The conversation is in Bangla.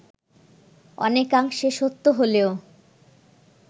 অনেকাংশে সত্য হলেও